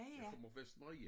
Jeg kommer fra Vestermarie